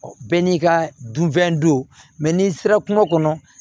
Bɛɛ n'i ka dunfɛn don mɛ n'i sera kungo kɔnɔ